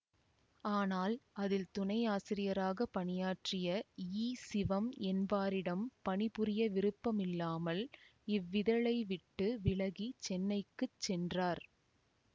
ஆனால் அதில் துணையாசிரியராகப் பணியாற்றிய ஈ சிவம் என்பாரிடம் பணி புரிய விருப்பம் இல்லாமல் இவ்விதழை விட்டு விலகி சென்னைக்குச் சென்றார்